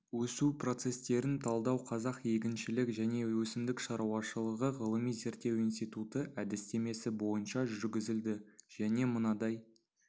өсу процестерін талдау қазақ егіншілік және өсімдік шаруашылығы ғылыми зерттеу институты әдістемесі бойынша жүргізілді және мынадай